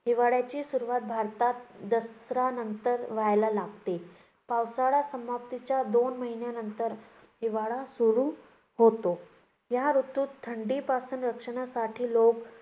हिवाळ्याची सुरुवात भारतात दसरा नंतर व्हायला लागते. पावसाळा समाप्तीच्या दोन महिन्यांनंतर हिवाळा सुरू होतो. या ऋतूत थंडीपासून रक्षणासाठी लोक